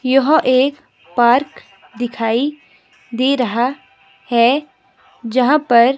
यह एक पार्क दिखाई दे रहा है जहां पर--